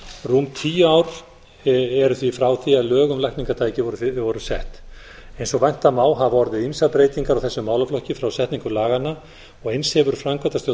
rúm tíu ár eru því frá því að lög um lækningatæki voru sett eins og vænta má hafa orðið ýmsar breytingar á þessum málaflokki frá setningu laganna og eins hefur framkvæmda stjórn